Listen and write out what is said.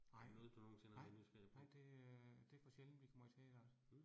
Nej. Nej, nej det øh det for sjældent vi kommer i teateret